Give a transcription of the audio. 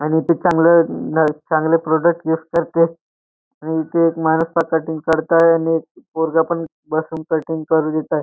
आणि ते चांगलं नाही चांगले प्रॉडक्ट युज करताय आणि एक माणूस पण कटिंग करत आहे आणि एक पोरगा पण बसून कटिंग करु देत आहे.